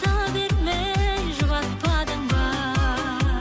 бермей жұбатпадың ба